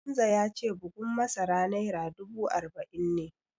Hamza ya ce bugun masara naira dubu arba'in ne